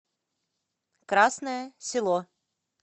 красное село